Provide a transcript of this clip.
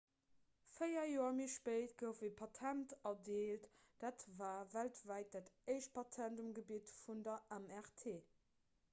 véier joer méi spéit gouf e patent erdeelt dat war weltwäit dat éischt patent um gebitt vun der mrt